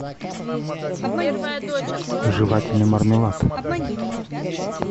жевательный мармелад